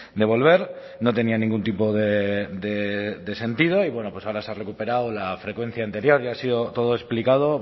de volver no tenía ningún tipo de sentido y bueno pues ahora se ha recuperado la frecuencia anterior ya ha sido todo explicado